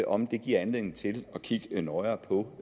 om det giver anledning til at kigge nøjere på